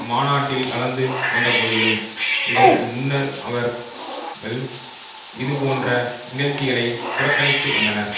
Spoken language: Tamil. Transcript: மாநாட்டில் கலந்து கொண்டபோதிலும் இதற்கு முன்னர் அவர் கள் இது போன்ற நிகழ்ச்சிகளை புறக்கணித்து வந்தனர்